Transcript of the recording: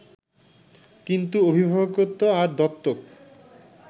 কিন্তু অভিভাবকত্ব আর দত্তক